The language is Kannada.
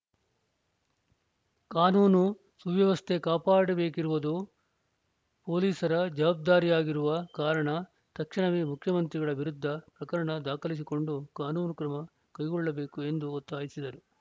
ಕಾನೂನು ಸುವ್ಯವಸ್ಥೆ ಕಾಪಾಡಬೇಕಿರುವುದು ಪೊಲೀಸರ ಜವಾಬ್ದಾರಿಯಾಗಿರುವ ಕಾರಣ ತಕ್ಷಣವೇ ಮುಖ್ಯಮಂತ್ರಿಗಳ ವಿರುದ್ಧ ಪ್ರಕರಣ ದಾಖಲಿಸಿಕೊಂಡು ಕಾನೂನು ಕ್ರಮ ಕೈಗೊಳ್ಳಬೇಕು ಎಂದು ಒತ್ತಾಯಿಸಿದರು